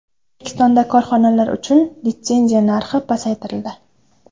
O‘zbekistonda korxonalar uchun litsenziya narxi pasaytirildi.